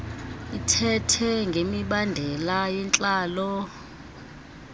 ithethe ngemibandela yentlalo